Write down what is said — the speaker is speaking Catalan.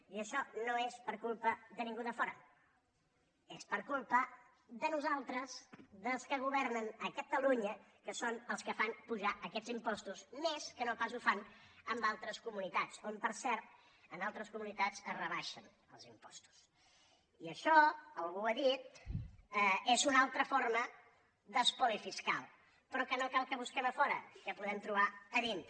i això no és per culpa de ningú de fora és per culpa de nosaltres dels que governen a catalunya que són els que fan pujar aquests impostos més que no pas ho fan en altres comunitats on per cert es rebaixen els impostos i això algú ho ha dit és una altra forma d’espoli fiscal però que no cal que busquem a fora que podem trobar a dintre